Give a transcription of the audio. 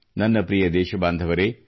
ನನ್ನ ಪ್ರಿಯ ದೇಶಬಾಂಧವರೆ